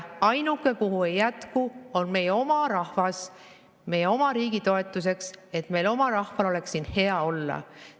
Ainuke, kellele ja kuhu ei jätku, on meie oma rahvas, meie oma riigi toetuseks, et meie oma rahval oleks siin hea olla.